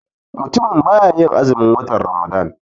Mutumin baya yin azumin watan ramadan.